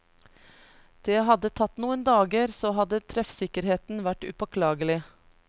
Det hadde tatt noen dager, så hadde treffsikkerheten vært upåklagelig.